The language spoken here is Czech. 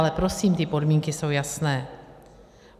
Ale prosím, ty podmínky jsou jasné.